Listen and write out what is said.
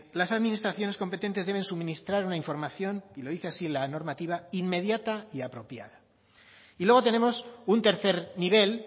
las administraciones competentes deben suministrar una información y lo dice así la normativa inmediata y apropiada y luego tenemos un tercer nivel